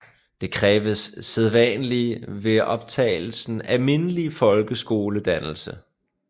Der kræves sædvanlig ved optagelsen almindelig folkeskoledannelse